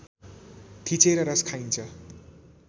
थिचेर रस खाइन्छ